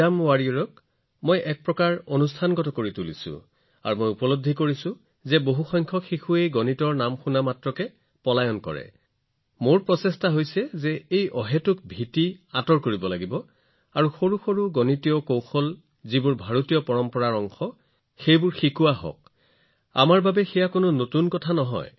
আৰু পৰীক্ষা যোদ্ধাৰ পৰা মই ইয়াক এক প্ৰকাৰে প্ৰতিষ্ঠানিক ৰূপ দিছো আৰু মোৰ এইটোও অভিজ্ঞতা আছে যে যেতিয়া মই বেছিভাগ শিশুৰ সৈতে কথা পাওঁ তেওঁলোকে গণিতৰ নাম শুনিলেই পলাই যায় আৰু সেয়েহে মোৰ প্ৰয়াস হৈছে কোনো কাৰণ নোহোৱাকৈ জন্ম হোৱা এই এটা ভয় আঁতৰ কৰা এই ভয়টো আঁতৰাব লাগে আৰু সৰু সৰু কৌশল যি পৰম্পৰাগতযিটো ভাৰতত নতুন নহয়